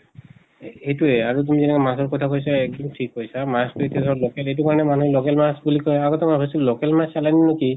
সেইটোয়ে আৰু তুমি মাছৰ কথা কৈছা এক্দম ঠিক কৈছা। মাছ্টো এতিয়া ধৰা local এইটো কাৰণে মানুহে local মাছ বুলি কয়। আগতে ভাবিছিল local মাছ চালানী নো কি